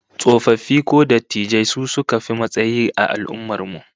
Tsofaffi ko dattijai su suka fi matsayi a al'ummar mu